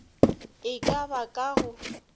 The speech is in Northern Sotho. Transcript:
e ka ba ka go